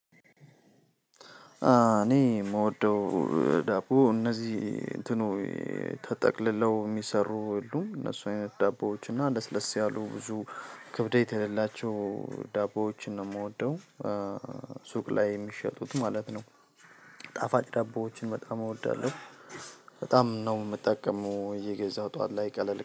እኔ የምወደው ዳቦ እነዚህ እንትኑ ተጠቅልለው የሚሰሩ ሁሉ እነሱ አይነት ዳቦዎች እና ለስለስ ያሉ ብዙ ክብደት የሌላቸው ዳቦዎችን ነው የምወደው። ሱቅ ላይ የሚሸጡት ማለት ነው። ጣፋጭ ዳቦዎችን በጣም እወዳለሁ። በጣም ነው የምጠቀመው እየገዛው ጠዋት ላይ ቀለል